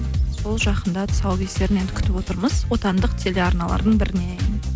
сол жақында тұсаукесерін енді күтіп отырмыз отандық телеарналардың бірінен